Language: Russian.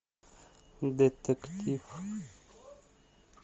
детектив